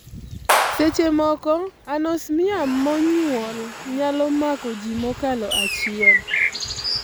Seche moko, anosmia monyuol l nyalo mako ji mokalo achiel e ot.